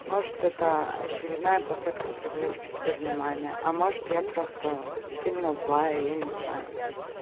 может это очередная попытка привлечь к себе внимание а может я просто сильно злая я не знаю